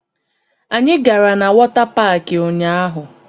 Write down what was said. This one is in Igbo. Anyị gara na wọta paakị ụnyaahụ